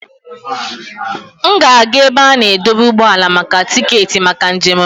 M ga-aga ebe a na-adọba ụgbọala maka tiketi maka njem m.